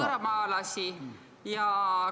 ... võõramaalasi.